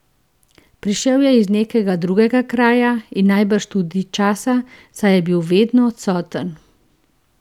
Prišel je iz nekega drugega kraja in najbrž tudi časa, saj je bil vedno odsoten.